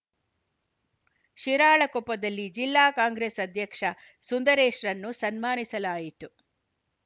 ಶಿರಾಳಕೊಪ್ಪದಲ್ಲಿ ಜಿಲ್ಲಾ ಕಾಂಗ್ರೆಸ್‌ ಅಧ್ಯಕ್ಷ ಸುಂದರೇಶ್‌ರನ್ನು ಸನ್ಮಾನಿಸಲಾಯಿತು